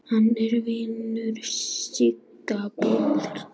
Hann er vinur Sigga bróður.